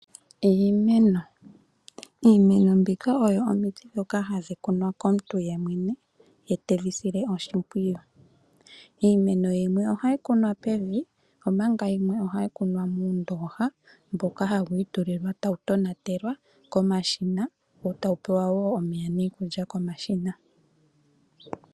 Iimeno, iimeno mbika oyo omiti dhoka hadhi kunwa komuntu yemwene, ye tadhi sile oshimpwiyu. Iimeno yimwe ohayi kunwa pevi omanga yimwe ohayi kunwa moondooha mboka hawu itulilwa tawu tonatelwa komashina, wo tawu pewa woo omeya niikulya komashina.